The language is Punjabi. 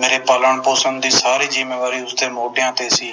ਮੇਰੇ ਪਾਲਣ ਪੋਸ਼ਣ ਦੀ ਸਾਰੀ ਜਿੰਮੇਵਾਰੀ ਉਸਦੇ ਮੋਢਿਆਂ ਤੇ ਸੀ